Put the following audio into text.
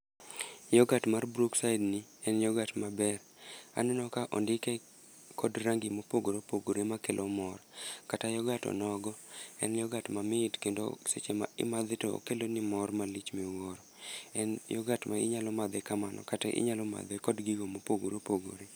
Yoghurt mar Brookside ni en yoghurt maber. Aneno ka ondike kod rangi ma opogore opogore ma kelo mor. Kata yoghurt o nogo, en yoghurt mamit, kendo seche ma imadhe to okeloni mor malich ma iwuoro. En yoghurt ma inyalo madhe kamano kata inyalo madhe kod gigo ma opogore opogore.